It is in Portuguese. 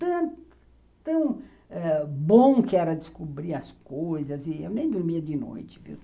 Tão bom que era descobrir as coisas e eu nem dormia de noite, viu?